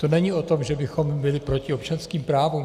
To není o tom, že bychom byli proti občanským právům.